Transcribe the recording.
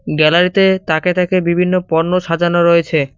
গ্যালারিতে তাকে তাকে বিভিন্ন পণ্য সাজানো রয়েছে।